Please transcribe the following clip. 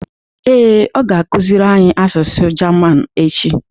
Ee, ọ ga-akụziri anyị asụsụ German echi